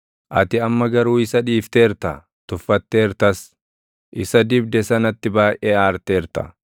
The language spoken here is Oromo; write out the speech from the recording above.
Ati amma garuu isa dhiifteerta; tuffatteertas; isa dibde sanatti baayʼee aarteerta.